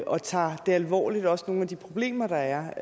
og tager det alvorligt også nogle af de problemer der er